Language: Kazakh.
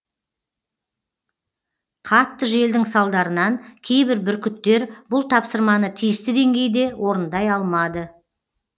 қатты желдің салдарынан кейбір бүркіттер бұл тапсырманы тиісті деңгейде орындай алмады